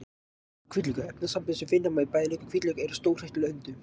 Laukur og hvítlaukur: Efnasambönd sem finna má í bæði lauk og hvítlauk eru stórhættuleg hundum.